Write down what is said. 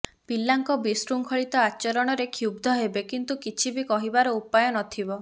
ପିଲାଙ୍କ ବିଶୃଙ୍ଖଳିତ ଆଚରଣରେ କ୍ଷୁବଧ୍ ହେବେ କିନ୍ତୁ କିଛିବି କରିବାର ଉପାୟ ନଥିବ